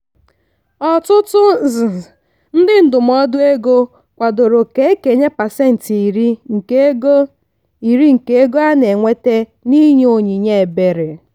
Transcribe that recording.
ọtụtụ ndị ndụmọdụ ego kwadoro ka e kenye pasentị iri nke ego iri nke ego a na-enweta n'inye onyinye ebere.